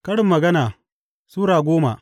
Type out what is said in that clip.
Karin Magana Sura goma